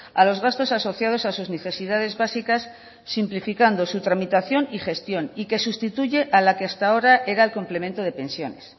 a los gastos asociados a sus necesidades básicas simplificando su tramitación y gestión y que sustituye a la que hasta ahora era el complemento de pensiones